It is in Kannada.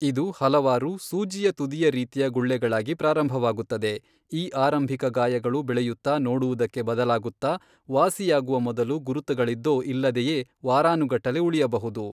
ಇದು ಹಲವಾರು ಸೂಜಿಯ ತುದಿಯ ರೀತಿಯ ಗುಳ್ಳೆಗಳಾಗಿ ಪ್ರಾರಂಭವಾಗುತ್ತದೆ, ಈ ಆರಂಭಿಕ ಗಾಯಗಳು ಬೆಳೆಯುತ್ತಾ ನೋಡುವುದಕ್ಕೆ ಬದಲಾಗುತ್ತಾ, ವಾಸಿಯಾಗುವ ಮೊದಲು ಗುರುತುಗಳಿದ್ದೋ, ಇಲ್ಲದೆಯೇ ವಾರಾನುಗಟ್ಟಲೆ ಉಳಿಯಬಹುದು.